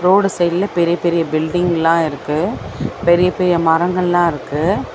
Road சைடுல பெரிய பெரிய பில்டிங்லா இருக்கு பெரிய பெரிய மரங்கள்லா இருக்கு.